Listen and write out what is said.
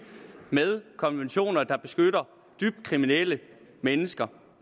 med konventioner der beskytter dybt kriminelle mennesker